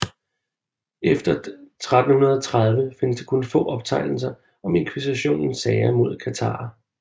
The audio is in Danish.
Efter 1330 findes der kun få optegnelser om Inkvisitionens sager mod katharer